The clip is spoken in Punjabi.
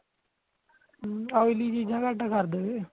oil ਚੀਜ਼ਾਂ ਕੱਟ ਕਰਦੇਵੇਂ